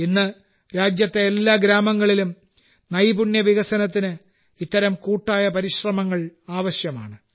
ഇന്ന് രാജ്യത്തെ എല്ലാ ഗ്രാമങ്ങളിലും നൈപുണ്യ വികസനത്തിന് ഇത്തരം കൂട്ടായ പരിശ്രമങ്ങൾ ആവശ്യമാണ്